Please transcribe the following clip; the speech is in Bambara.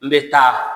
N bɛ taa